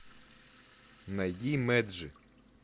найди мэджи